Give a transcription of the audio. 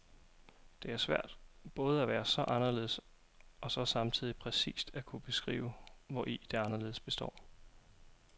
Det er svært både at være så anderledes og så samtidig præcist at kunne beskrive, hvori det anderledes består.